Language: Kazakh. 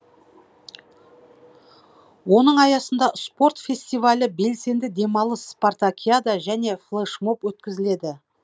оның аясында спорт фестивалі белсенді демалыс спартакиада және флешмоб өткізіледі